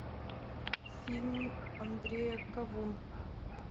фильм андрея кавун